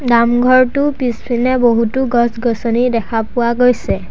নামঘৰটোৰ পিছপিনে বহুতো গছ-গছনি দেখা পোৱা গৈছে।